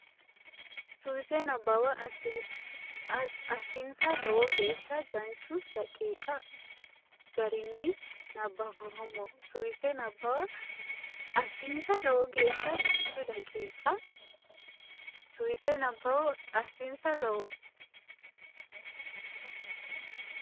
Suwise Nabbawa assinsa lowo geeshsha danchu daqiiqa garinni nabbamboommo Suwise Nabbawa assinsa lowo geeshsha danchu daqiiqa Suwise Nabbawa assinsa lowo.